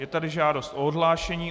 Je tady žádost o odhlášení.